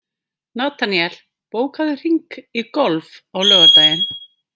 Nataníel, bókaðu hring í golf á laugardaginn.